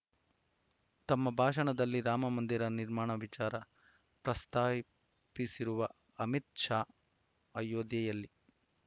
ತಮ್ಮ ಭಾಷಣದಲ್ಲಿ ರಾಮಮಂದಿರ ನಿರ್ಮಾಣ ವಿಚಾರ ಪ್ರಸ್ತಾಪಿಸಿರುವ ಅಮಿತ್‌ ಶಾ ಅಯೋಧ್ಯೆಯಲ್ಲಿ